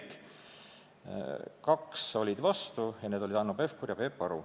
Kaks komisjoni liiget olid vastu, need olid Hanno Pevkur ja Peep Aru.